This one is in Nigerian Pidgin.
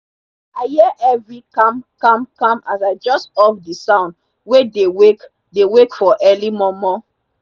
i hear heavy kamkamkam as i jus off the sound wey dey wake dey wake for early momo